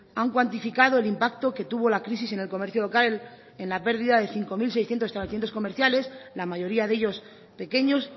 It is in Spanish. han cuantificado el impacto que tuvo la crisis en el comercio local en la pérdida de cinco mil seiscientos establecimientos comerciales la mayoría de ellos pequeños